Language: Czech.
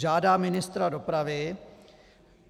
Žádá ministra dopravy.